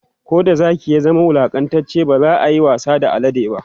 Koda Zaki ya zama wulaƙantacce bazayayi wasa da alade ba